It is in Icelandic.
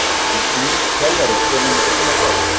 Verður nýr þjálfari kominn í brúna þá?